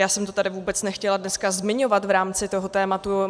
Já jsem to tady vůbec nechtěla dneska zmiňovat v rámci toho tématu.